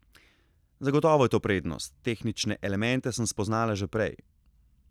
Zagotovo je to prednost, tehnične elemente sem spoznala že prej.